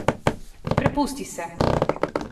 Prepusti se!